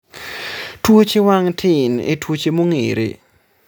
tuoche wang' tin e tuoche mong'ere